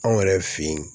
Anw yɛrɛ fe ye